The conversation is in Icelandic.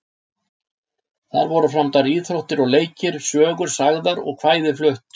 Þar voru framdar íþróttir og leikir, sögur sagðar og kvæði flutt.